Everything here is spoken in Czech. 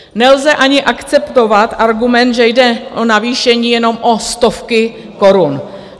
Nelze ani akceptovat argument, že jde o navýšení jenom o stovky korun.